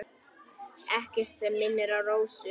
Ekkert sem minnir á Rósu.